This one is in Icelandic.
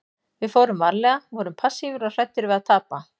Við fórum varlega, vorum passífir og hræddir við að tapa.